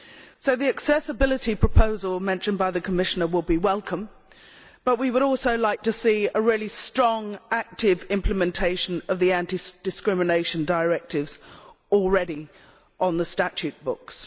So the accessibility proposal mentioned by the Commissioner would be welcome, but we would also like to see a really strong and active implementation of the anti discrimination directives already on the statute books.